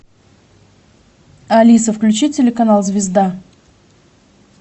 алиса включи телеканал звезда